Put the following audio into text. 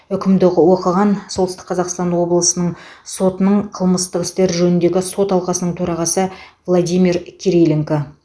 үкімді оқыған солтүстік қазақстан облысының соттың қылмыстық істер жөніндегі сот алқасының төрағасы владимир кириленко